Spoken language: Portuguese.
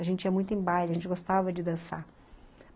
A gente ia muito em baile, a gente gostava de dançar.